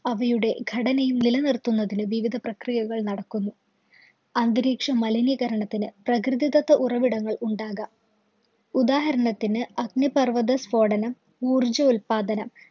അവയുടെ ഘടനയും നിലനിര്‍ത്തുന്നതിന് വിവിധ പ്രക്രിയകള്‍ നടക്കുന്നു. അന്തരീക്ഷ മലിനീകരണത്തിന് പ്രകൃതിദത്ത ഉറവിടങ്ങള്‍ ഉണ്ടാകാം. ഉദാഹരണത്തിന് അഗ്നിപര്‍വ്വതസ്ഫോടനം, ഊർജ്ജോല്പാദനം,